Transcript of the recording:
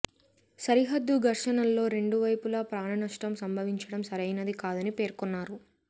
సరిహద్దు ఘర్షణల్లో రెండు వైపులా ప్రాణనష్టం సంభవించడం సరైనది కాదని పేర్కొన్నారు